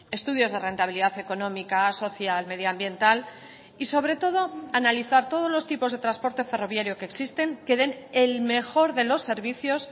estudios de rentabilidad económica social medioambiental y sobre todo analizar todos los tipos de transporte ferroviario que existen que den el mejor de los servicios